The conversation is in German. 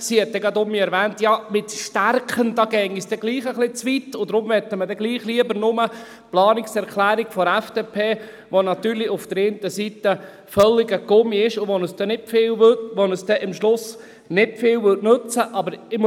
Sie hat auch gleich erwähnt, dass es mit «stärken» doch ein bisschen zu weit gehe und dass man daher doch nur die Planungserklärung der FDP befürworte, die natürlich auf der einen Seite völliger Gummi ist, der uns am Schluss nicht viel nützen würde.